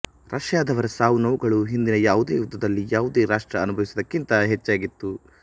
ರಷ್ಯಾದವರ ಸಾವುನೋವುಗಳು ಹಿಂದಿನ ಯಾವುದೇ ಯುದ್ಧದಲ್ಲಿ ಯಾವುದೇ ರಾಷ್ಟ್ರ ಅನುಭವಿಸಿದ್ದಕ್ಕಿಂತ ಹೆಚ್ಚಾಗಿತ್ತು